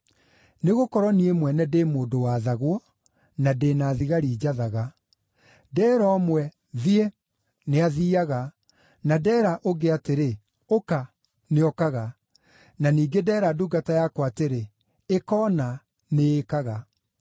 Nĩgũkorwo niĩ mwene ndĩ mũndũ wathagwo, na ndĩ na thigari njathaga. Ndeera ũmwe ‘Thiĩ,’ nĩathiiaga, na ndeera ũngĩ atĩrĩ, ‘Ũka,’ nĩokaga. Na ningĩ ndeera ndungata yakwa atĩrĩ, ‘Ĩka ũna,’ nĩĩkaga.”